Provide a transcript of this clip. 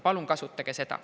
Palun kasutage seda.